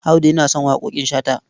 Audu yana son waƙoƙin Shata.